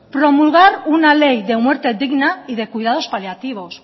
promulgar una ley de muerte digna y de cuidados paliativos